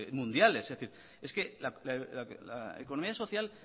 mundiales es decir es que la economía social